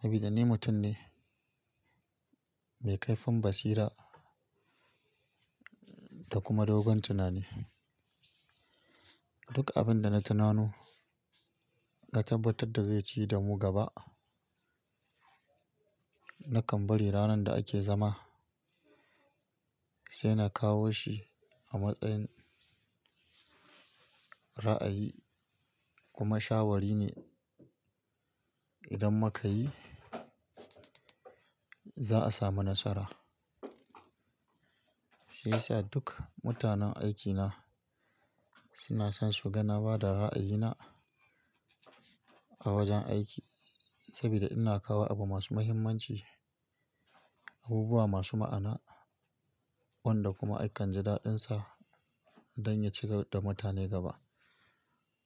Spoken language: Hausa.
saboda ni mutum ne mai kaifin basira da kuma dogon tunani. Duka abin da na tunano na tabbatar da zai ci da mu gaba, na kan bari ranar da ake zama sai na kawo shi a matsayin ra'ayi kuma shawari ne idan muka yi za a samu nasara. Shiyasa duk mutanen aikina suna son suga na ba da ra'ayina a wajen aiki saboda ina kawo abu masu muhimmanci, abubuwa masu ma'ana wanda kuma a kan ji daɗunsa dan ya ciyar da mutane gaba.